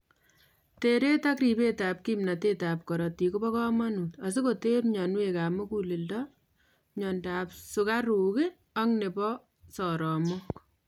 Teret ak ribet ab kimnotet ab korotik kob komonut asikoter myonwek ab muguleledo, myondab sukaruk ak nebo saromok